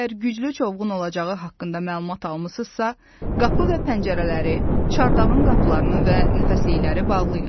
Əgər güclü çovğun olacağı haqqında məlumat almısınızsa, qapı və pəncərələri, çardağın qapılarını və nəfəslikləri bağlayın.